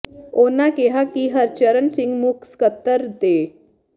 ਉਨ੍ਹਾਂ ਕਿਹਾ ਕਿ ਹਰਚਰਨ ਸਿੰਘ ਮੁੱਖ ਸਕੱਤਰ ਤੇ ਡਾ